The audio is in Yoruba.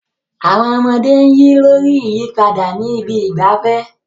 Àwọn ọmọdé ń yí lórí ìyípadà ní ibi ìgbafẹ́.